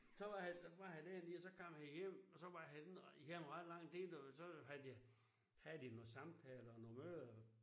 Så var han var han dernede og så kom han hjem og så var han ikke hjemme i ret lang så havde de havde de nogle samtaler og nogle møder